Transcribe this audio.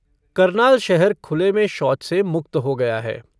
करनाल शहर खुले में शौच से मुक्त हो गया है।